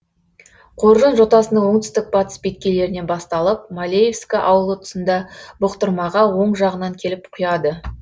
қоржын жотасының оңтүстік батыс беткейлерінен басталып малеевск ауылы тұсында бұқтырмаға оң жағынан келіп құяды